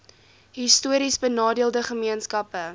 histories benadeelde gemeenskappe